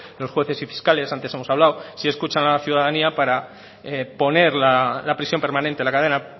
los jueces y fiscales antes hemos hablado sí escuchan a la ciudadanía para poner la prisión permanente la cadena